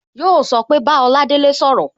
Yo so pé Bá Oladele sọ̀rọ̀